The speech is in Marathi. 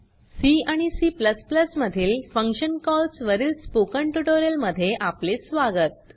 सी आणि C मधील फंक्शन कॉल्स वरील स्पोकन ट्यूटोरियल मध्ये आपले स्वागत